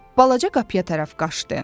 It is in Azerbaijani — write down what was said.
Balaca qapıya tərəf qaçdı.